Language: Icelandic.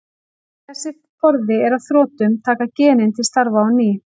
Þegar þessi forði er á þrotum taka genin til starfa á ný.